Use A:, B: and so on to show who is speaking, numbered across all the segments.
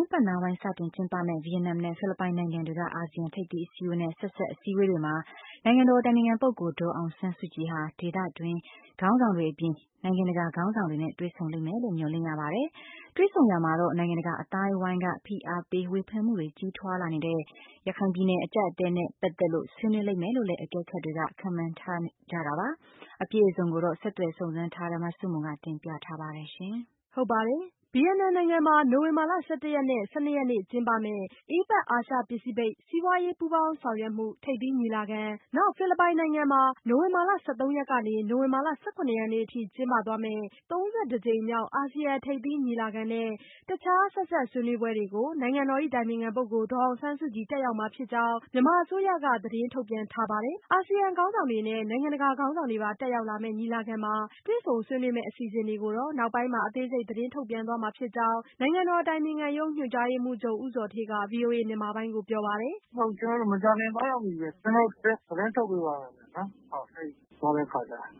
A: င်းပိုင်း စတင်ကျင်းပမယ့် ဗီယက်နမ်နဲ့ ဖိလစ်ပိုင်နိုင်ငံတွေက အာဆီယံ ထိပ်သီးအစည်းအဝေးနဲ့ ဆက်စပ် အစည်းအဝေးတွေမှာ နိုင်ငံတော်အတိုင်ပင်ခံပုဂ္ဂိုလ် ဒေါ်အောင်ဆန်းစုကြည် ဟာ ဒေသတွင်း ခေါင်းဆောင်တွေအပြင်၊ နိုင်ငံတကာ ခေါင်းဆောင်တွေနဲ့ တွေ့ဆုံလိမ့်မယ်လို့ မျှော်လင့်ရပါတယ်။ တွေ့ဆုံရာမှာတော့ နိုင်ငံတကာ အသိုင်းအဝန်းက ဖိအားပေး ဝေဖန်မှုတွေ ကြီးထွားလာနေတဲ့ ရခိုင်ပြည်နယ် အကျပ်အတည်းနဲ့ ပတ်သက်လို့ ဆွေးနွေးလိမ့်မယ်လို့လည်း အကဲခတ်တွေ ခန့်မှန်းနေကြတာပါ။ အပြည့်အစုံကိုတော့ ဆက်သွယ်စုံစမ်းထားတဲ့ မဆုမွန်က တင်ပြပေးမှာ ဖြစ်ပါတယ်။ ဗီယက်နမ်နိုင်ငံမှာ နိုဝင်ဘာ ၁၁ ရက်နဲ့ နိုဝင်ဘာ ၁၂ ရက်နေ့ ကျင်းပမယ့် APEC အာရှ-ပဖိစိဖိတ် စီးပွားရေးပူးပေါင်းဆောင်ရွက်မှု ထိပ်သီးညီလာခံ၊ ဖိလစ်ပိုင်နိုင်ငံမှာ နိုဝင်ဘာ ၁၃ ရက်ကနေ နိုဝင်ဘာ ၁၇ ရက်နေ့အထိ ကျင်းပသွားမယ့် ၃၁ ကြိမ်မြောက် အာဆီယံထိပ်သီးညီလာခံ နဲ့ တခြားဆက်စပ် ဆွေးနွေးပွဲတွေကို နိုင်ငံတော်အတိုင်ပင်ခံပုဂ္ဂိုလ် ဒေါ်အောင်ဆန်းစုကြည် တက်ရောက်မှာဖြစ်ကြောင်း မြန်မာအစိုးရက သတင်းထုတ်ပြန် ထားပါတယ်။ အာဆီယံ ခေါင်းဆောင်တွေနဲ့ နိုင်ငံတကာ ခေါင်းဆောင်တွေပါ တက်ရောက်လာမယ့် ညီလာခံမှာ တွေ့ဆုံဆွေးနွေးမယ့် အစီအစဉ်တွေကိုတော့ နောက်ပိုင်းမှာ အသေးစိတ် သတင်းထုတ်ပြန်ပေးမှာ ဖြစ်ကြောင်း နိုင်ငံတော် အတိုင်ပင်ခံရုံး ညွှန်ကြားရေးမှူးချုပ် ဦးဇော်ဌေးက ပြောပါတယ်။ “မ
B: ကြာခင်သွားရောက်မှီပဲ ကျနော်တို့ သတင်းထုတ်ပေးပါမယ် အဲဒီသွားတဲ့အခါကျရင်”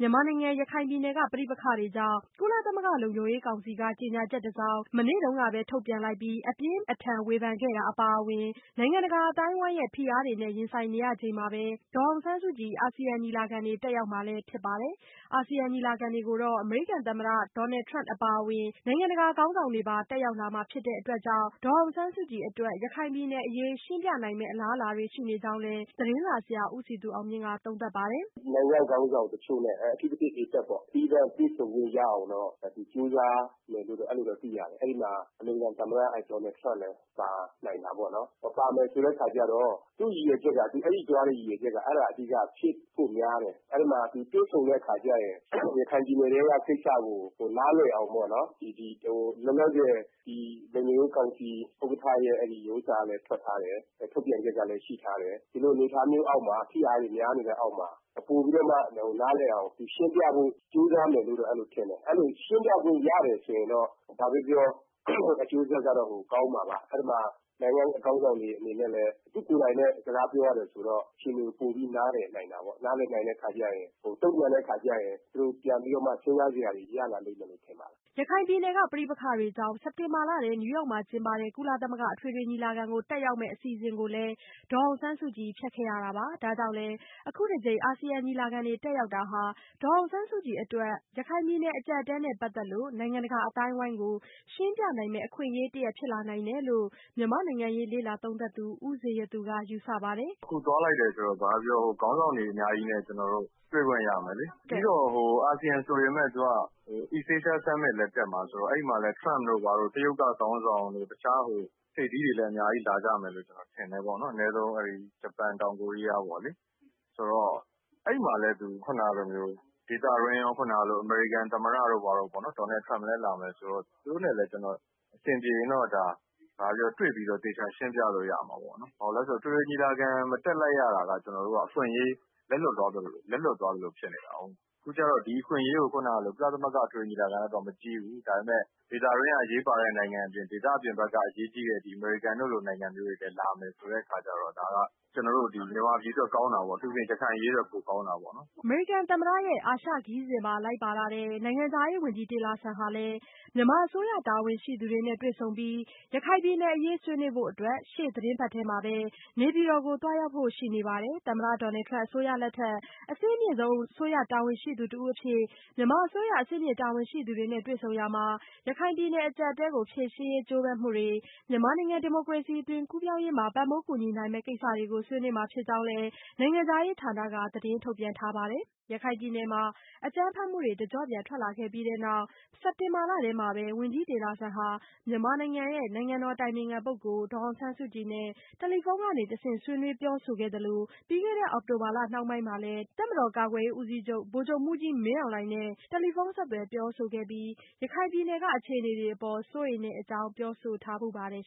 A: မြန်မာနိုင်ငံ ရခိုင်ပြည်နယ်က ပဋိပက္ခတွေကြောင့် ကုလသမဂ္ဂ လုံခြုံရေးကောင်စီက ကြေညာချက်တစောင် မနေ့တုန်းကပဲ ထုတ်ပြန်လိုက်ပြီး အပြင်းအထန် ဝေဖန်ခဲ့တာ အပါအဝင် နိုင်ငံတကာ အသိုင်းအဝန်းရဲ့ ဖိအားတွေနဲ့ ရင်ဆိုင်နေရချိန်မှာပဲ ဒေါ်အောင်ဆန်းစုကြည် အာဆီယံ ညီလာခံတွေ တက်ရောက်မှာလည်း ဖြစ်ပါတယ်။ အာဆီယံ ညီလာခံတွေကိုတော့ အမေရိကန်သမ္မတ Donald Trump အပါအဝင် နိုင်ငံတကာခေါင်းဆောင်တွေပါ တက်ရောက်လာမှာ ဖြစ်တာကြောင့် ဒေါ်အောင်ဆန်းစုကြည်အတွက် ရခိုင်ပြည်နယ်အရေး ရှင်းပြနိုင်မယ့် အလားအလာတွေ ရှိနေကြောင်းလည်း သတင်းစာဆရာ ဦးစည်သူအောင်မြင့်က သုံးသပ်ပါတယ်။
C: “နိုင်ငံ့ခေါင်းဆောင်တချို့နဲ့ အထူးသဖြင့် APEC ပေါ့ သီးသန့်တွေ့ဆုံခွင့်ရအောင်တော့ ကြိုးစားမယ်လို့တော့ ကျနေ်ာတို့ သိရတယ်။ အဲဒီမှာ အမေရိကန်သမ္မတ ဒေါ်နယ်ထရမ့်လည်းပါနိုင်တာပေါ့နော်။ ပါမယ်ဆိုတဲ့ အခါကျတော့ သူအဲဒီသွားတဲ့ ရည်ရွယ်ချက်က အဲဒီဟာအဓိက ဖြစ်ဖို့များတယ်။ အဲဒီမှာ သူတွေ့ဆုံတဲ့အခါကျရင် ရခိုင်ပြည်နယ်ထဲက ကိစ္စကို နားလည်အောင်ပေါ့နော် လောလောဆည်ဒီ လုံခြု
B: ံ
C: ရေးကောင်စီ ဥက္ကဋ္ဌရဲ့ Statement လည်းထွက်ထားတယ်။ ထုတ်ပြန်ချက်ကလည်း ရှိထားတယ်။ ဒီလိုအနေအထားမျိုးအောက်မှာ ဖိအားတွေများနေတဲ့အောက်မှာ ပိုပြီးတော့မှ နားလည်အောင်ရှင်းပြဖို့ သူကြိုးစားမယ်လို့တော့ထင်တယ်။ ရှင်းပြလို့ရမယ်ဆိုရင်တော့ ဘာပဲပြောပြောအကျိုးဆက်ကတော့ ကောင်းမှာပါ။ အဲဒီမှာ နိုင်ငံခေါင်းဆောင်တွေအနေနဲ့လည်း သူကိုယ်တိုင် စကားပြောရတယ်ဆိုရင်တော့ အခြ
B: ေအနေကို ပိုပြီးတေ
C: ာ့ နားလည်နိုင်တာပေါ့။ နားလည်နိုင်တဲ့အခါကျရင် တုံ့ပြန်တဲ့အခါကျရင် သူတို့ပြန်ပြီးတော့မှ စဉ်းစားစရာရလာလိမ့်မယ်လို့တော့ ထင်ပါတယ်။
A: ” ရခိုင်ပြည်နယ်က ပဋိပက္ခတွေကြောင့် စက်တင်ဘာလထဲ နယူးယောက်မှာ ကျင်းပတဲ့ ကုလသမဂ္ဂ အထွေထွေ ညီလာခံကို တက်ရောက်မယ့် အစီအစဉ်ကိုလည်း ဒေါ်အောင်ဆန်းစုကြည် ဖျက်ခဲ့ရတာပါ။ ဒါကြောင့်လည်း ခုတကြိမ် အာဆီယံ ညီလာခံတွေ တက်ရောက်တာဟာ ဒေါ်အောင်ဆန်းစုကြည် အတွက် ရခိုင်ပြည်နယ် အကျပ်အတည်းနဲ့ ပတ်သက်လို့ နိုင်ငံတကာ အသိုင်းအဝန်းကို ရှင်းပြနိုင်မယ့် အခွင့်အရေးတရပ် ဖြစ်လာနိုင်တယ်လို့ မြန်မာ့နိုင်ငံရေး လေ့လာသုံးသပ်သူ ဦးဇေယျသူ ကယူဆပါတယ်။ “အ
B: ခုသွားလိုက်တယ်ဆိုတော့ ဘာပဲပြောပြော ခေါင်းဆောင်တွေအများကြီးနဲ့ ကျနော်တို့ ကျနော်တို့ တွေ့ခွင့်ရမယ်လေ ပြီးတော့ အာဆီယံဆိုပေမယ့် East Asia Summit လည်းတက်မှာဆိုတော့ အဲဒီမှာ Trump တို့ တရုတ်ကခေါင်းဆောင်တွေတို့ ထပ်သီးတွေလည်းအများကြီးလာလိမ့်မယ်လို့ ကျနေ်ာထင်တယ်။ အနည်းဆုံး ဂျပန်၊ တောင်ကိုရီးယားပေါ့လေ။ ဆိုတော့ အဲဒီမှာလည်းသူ ခုနတုန်းကလိုမျိုး ဒေသတွင်းကရော အမေရိကန်သမ္မတ Donald Trump လည်းလာမယ်ဆိုတော့ အဆင်ပြေရင်တော့ ဘာပဲပြောပြော တွေ့ပြီးတော့ သေချာရှင်းပြလို့ရမှာပေါ့နော်။ ဘာဖြစ်လို့လဲဆိုတော့ အထွေထွေညီလာခံ မတက်လိုက်ရတာက ကျနော်တို့က အခွင့်အရေး လက်လွတ်သွားသလိုဖြစ်နေတာကို။ အခုကျတော့ ဒီအခွင့်အရေးကို ခုနကလို ကုလသမဂ္ဂညီလာခံလောက်တော့ မကြီးဘူး ၊ ဒါပေမယ့် ဒေသအတွင်းက အရေးပါတဲ့နိုင်ငံတွေ အပြင်၊ ဒေသအပြင်ဘက်က အရေးကြီးတဲ့ အမေရိကန်တို့လို နိုင်ငံမျိုးတွေလည်း လာမယ်ဆိုတဲ့အခါကျတော့ ဒါက ကျနော်တို့ မြန်မာပြည်အတွက်ကောင်းတာပေါ့ အထူးသဖြင့် ရခိုင်အရေးအတွက်ကောင်းတာပေါ့။
A: ” အမေရိကန်သမ္မတရဲ့ အာရှခရီးစဉ်မှာ လိုက်ပါလာတဲ့ နိုင်ငံခြားရေးဝန်ကြီး Tillerson ဟာလည်း မြန်မာအစိုးရ တာဝန်ရှိသူတွေနဲ့ တွေ့ဆုံပြီး ရခိုင်ပြည်နယ်အရေး ဆွေးနွေးဖို့အတွက် ရှေ့သီတင်းပတ်ထဲမှာပဲ နေပြည်တော်ကို သွားရောက်ဖို့ ရှိနေပါတယ်။ သမ္မတ Trump အစိုးရလက်ထက် အဆင့်အမြင့်ဆုံး အစိုးရတာဝန်ရှိသူတဦးအဖြစ် မြန်မာအစိုးရ အဆင့်မြင့်တာဝန်ရှိသူတွေနဲ့ တွေ့ဆုံရာမှာ ရခိုင်ပြည်နယ် အကျပ်အတည်းကို ဖြေရှင်းရေး ကြိုးပမ်းမှုတွေ၊ မြန်မာနိုင်ငံ ဒီမိုကရေစီ အသွင်ကူးပြောင်းရေးမှာ ပံ့ပိုးကူညီနိုင်မယ့် ကိစ္စတွေကို ဆွေးနွေးမှာ ဖြစ်ကြောင်းလည်း နိုင်ငံခြားရေးဌာနက သတင်းထုတ်ပြန် ထားပါတယ်။ ရခိုင်ပြည်နယ်မှာ အကြမ်းဖက်မှုတွေ တကျော့ပြန် ထွက်ပေါ်ခဲ့ပြီးနောက် စက်တင်ဘာလထဲမှာပဲ ဝန်ကြီး Tillerson ဟာ မြန်မာနိုင်ငံရဲ့ နိုင်ငံတော်အတိုင်ပင်ခံပုဂ္ဂိုလ် ဒေါ်အောင်ဆန်းစုကြည်နဲ့ တယ်လီဖုန်းကတဆင့် ဆွေးနွေးပြောဆိုခဲ့သလို၊ ပြီးခဲ့တဲ့ အောက်တိုဘာလ နှောင်းပိုင်းမှာလည်း တပ်မတော် ကာကွယ်ရေးဦးစီးချုပ် ဗိုလ်ချုပ်မှူးကြီး မင်းအောင်လှိုင်နဲ့ တယ်လီဖုန်းဆက်သွယ် ပြောဆိုခဲ့ပြီး ရခိုင်ပြည်နယ်က အခြေအနေတွေအပေါ် စိုးရိမ်တဲ့အကြောင်း ပြောဆိုထားဘူးပါတယ်။